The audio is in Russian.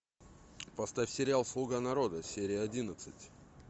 поставь сериал слуга народа серия одиннадцать